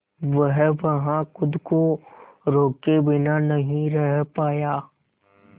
वह वहां खुद को रोके बिना नहीं रह पाया